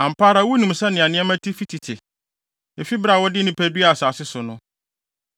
“Ampa ara wunim sɛnea nneɛma te fi tete, efi bere a wɔde nnipa duaa asase so no,